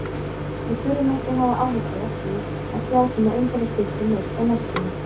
Við þurfum ekki að hafa áhyggjur af því að sjá svona umferðarskilti neitt á næstunni.